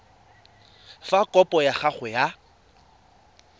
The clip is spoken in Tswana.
fa kopo ya gago ya